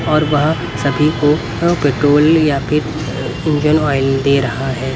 और वह सभी को पेट्रोल या फिर इंजन ऑयल दे रहा है.